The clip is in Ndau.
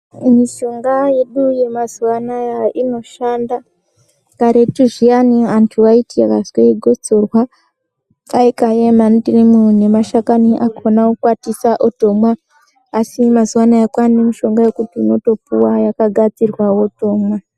Mishonga yedu yemazuva anaya inoshanda. Karetu zviyani antu ayiti akazwe gotsorwa vaikaye mandimu nemashakani akona kukwatisa otomwa, asi mazuva anaya kwaane mishonga yekuti unotopuwa yakagadzirwa wotomwa.